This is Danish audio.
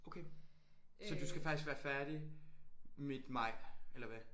Okay så du skal faktisk være færdig midt maj eller hvad